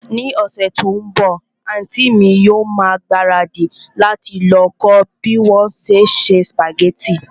Ní ọ̀sẹ̀ tí ó ń bọ̀, àntí mi yóò ma ìgbáradì láti lọ kọ́ bí wón se ń se sùpàgẹ́tì